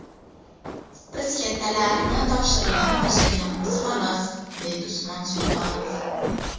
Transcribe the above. Biz kattalarni topshirig‘ini bajarayapmiz xolos, deydi Usmon Sultonov.